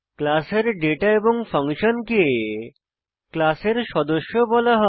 class এর data এবং ফাংশনকে ক্লাসের সদস্য বলা হয়